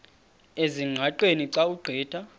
ezingqaqeni xa ugqitha